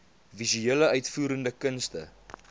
visuele uitvoerende kunste